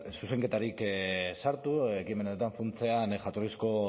zuzenketarik sartu ekimen hartan funtsean jatorrizko